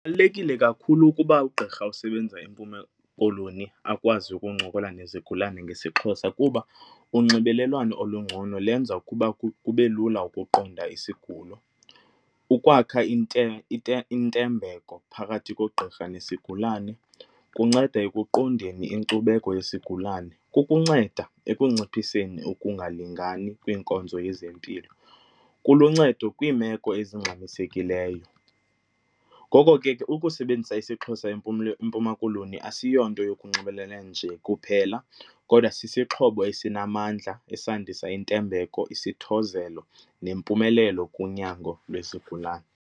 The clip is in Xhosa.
kakhulu ukuba ugqirha osebenza eMpuma Koloni akwazi ukuncokola nezigulane ngesiXhosa kuba unxibelelwano olungcono lenza ukuba kube lula ukuqonda isigulo. Ukwakha intembeko phakathi kogqirha nesigulani kunceda ekuqondeni inkcubeko yesigulane ukunceda ekunciphiseni ukungalingani kwiinkonzo yezempilo kuluncedo kwiimeko ezingxamisekileyo. Ngoko ke ukusebenzisa isiXhosa eMpuma Koloni asiyonto yokunxibelelana nje kuphela kodwa sisixhobo esinamandla esandisa intembeko, isithozelo nempumelelo kunyango lwezigulane.